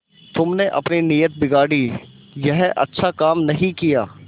तुमने अपनी नीयत बिगाड़ी यह अच्छा काम नहीं किया